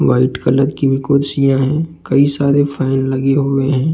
White colour की कुर्सियाँ है कई सारे फैन लगे हुए हैं।